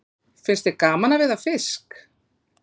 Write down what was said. Finnst þér gaman að veiða fisk?